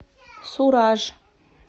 сураж